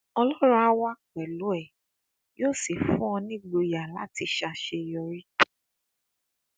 ọlọrun áà wà pẹlú ẹ yóò sì fún ọ nígboyà láti ṣàṣeyọrí